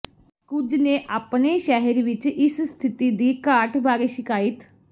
ਕੁਝ ਨੇ ਆਪਣੇ ਸ਼ਹਿਰ ਵਿਚ ਇਸ ਸਥਿਤੀ ਦੀ ਘਾਟ ਬਾਰੇ ਸ਼ਿਕਾਇਤ